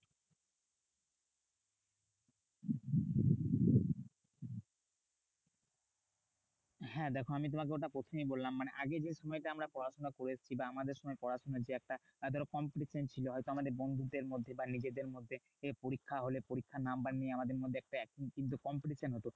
হ্যাঁ দেখো আমি তোমাকে ওটা প্রথমেই বললাম। মানে আগে যে সময়টা আমরা পড়াশোনা করে এসেছি বা আমাদের সময় পড়াশোনার যে একটা ধরো competition ছিল। হয়তো আমাদের বন্ধুদের মধ্যে বা নিজেদের মধ্যে পরীক্ষা হলে পরীক্ষার number নিয়ে আমাদের মধ্যে একটা কিন্তু competition হতো।